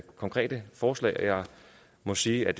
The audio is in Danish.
konkrete forslag jeg må sige at